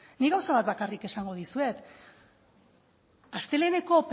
nik gauza bat bakarrik esango dizuet asteleheneko